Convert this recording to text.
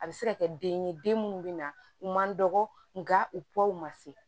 A bɛ se ka kɛ den ye den minnu bɛ na u man dɔgɔ nga u pew ma se